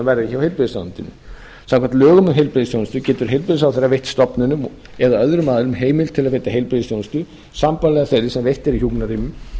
verði hjá heilbrigðisráðuneytinu samkvæmt lögum um heilbrigðisþjónustu getur heilbrigðisráðherra veitt stofnunum eða öðrum aðilum heimild til að veita heilbrigðisþjónustu sambærilegri þeirri sem veitt er í hjúkrunarrýmum